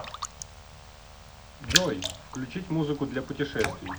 джой включить музыку для путешествий